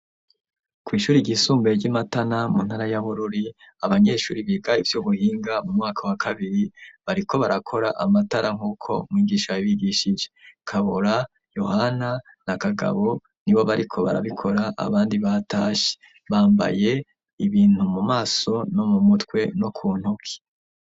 kw'ishure ryisumbuye ry'Imatana mu ntara ya Bururi ,abanyeshure biga ivy'ubuhinga mu mwaka wa kabiri bariko barakora amatara nk'uko mwigisha yabigishije. Kabura, Yohana na Kagabo ni bo bariko barabikora abandi batashe ,bambaye ibintu mu maso no mu mutwe no ku ntoke.